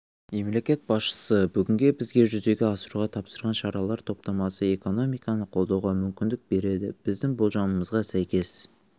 мемлекет басшысы бүгін бізге жүзеге асыруға тапсырған шаралар топтамасы экономиканы қолдауға мүмкіндік береді біздің болжамымызға сәйкес